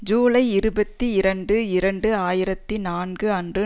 ஜூலை இருபத்தி இரண்டு இரண்டு ஆயிரத்தி நான்கு அன்று